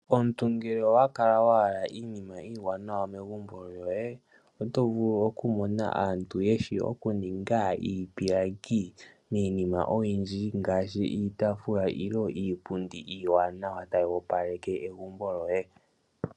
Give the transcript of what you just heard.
Omuntu ngele owa kala wa hala iinima iiwanawa megumbo lyoye .Oto vulu okumona aantu mba yeshi oku ninga iipilangi miinima oyindji ngaashi iitaafula nenge iipundi iiwanawa tayi opaleke egumbo lyoye.